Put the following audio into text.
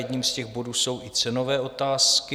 Jedním z těch bodů jsou i cenové otázky.